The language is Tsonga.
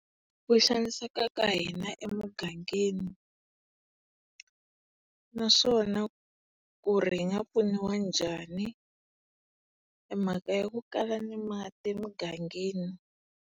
Ku xaniseka ka hina emugangeni naswona ku ri hi nga pfuniwa njhani. E mhaka ya ku kala ni mati emugangeni.